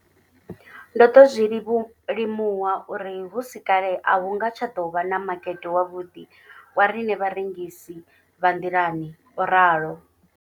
Ndo ḓo zwi limuwa uri hu si kale a hu nga tsha ḓo vha na makete wavhuḓi wa riṋe vharengisi vha nḓilani, o ralo.